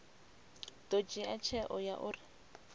ḓo dzhia tsheo ya uri